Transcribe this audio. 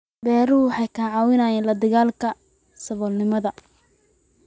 Beeruhu waxay ka caawiyaan la dagaallanka saboolnimada.